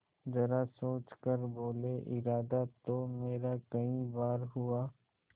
जरा सोच कर बोलेइरादा तो मेरा कई बार हुआ